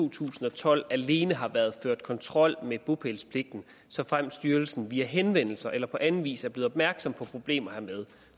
to tusind og tolv alene har været ført kontrol med bopælspligten såfremt styrelsen via henvendelser eller på anden vis er blevet opmærksom på problemer hermed